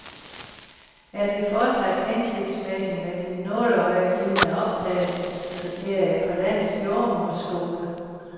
Er det fortsat hensigtsmæssigt med de nåleøjelignende optagelseskriterier på landets jordemoderskoler?